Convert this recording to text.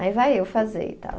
Aí vai eu fazer e tal.